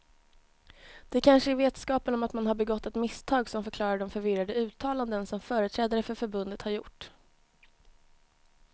Det kanske är vetskapen om att man har begått ett misstag som förklarar de förvirrade uttalanden som företrädare för förbundet har gjort.